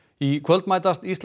í kvöld mætast Ísland